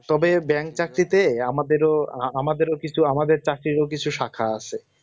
তবে bank চাকরিতে আমাদেরও আমাদেরও কিছু আমাদের চাকরিও শাখা আছে